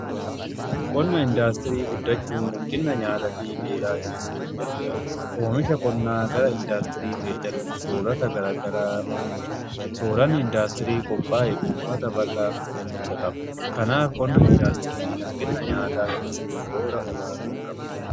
Qonna indaastirii guddachuun hanqina nyaataa fi beelaa hir'isuuf gargaara. Oomisha Qonnaa irraa gara indaastirii geddaruun soorata gara garaa oomisha. Sooranni indaastirii qophaa'e uummata bal'aaf ga'umsa qaba. Kanaaf qonna indaastirii hanqina nyaataa hir'isuuf shoora olaanaa qaba.